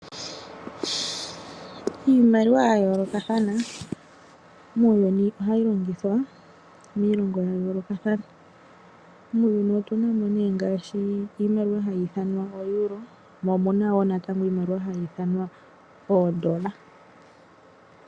Iimaliwa ya yoolokathana muuyuni ohayi longithwa miilongo ya yoolokathana. Muuyuni otu na mo nee ngaashi iimaliwa hayi ithanwa ooeuro mo omu na wo natango iimaliwa hayi ithanwa oodola.